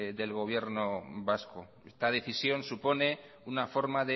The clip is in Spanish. del gobierno vasco esta decisión supone una forma